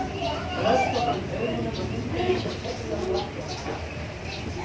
Röskva gaut augunum að hundinum sem sleikti á sér afturendann.